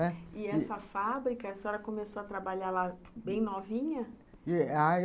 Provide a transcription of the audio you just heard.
E essa fábrica, a senhora começou a trabalhar lá bem novinha?